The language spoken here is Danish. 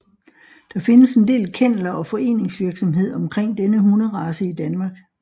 Der findes en del kenneler og foreningsvirksomhed omkring denne hunderace i DK